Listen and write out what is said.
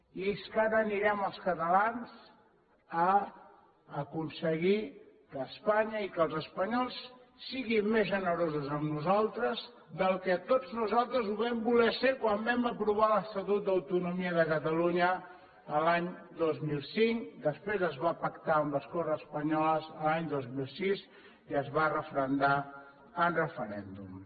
i és que ara anirem els catalans a aconseguir que espanya i que els espanyols siguin més generosos amb nosaltres del que tots nosaltres ho vam voler ser quan vam aprovar l’estatut d’autonomia de catalunya l’any dos mil cinc que després es va pactar amb les corts espanyoles l’any dos mil sis i es va referendar en referèndum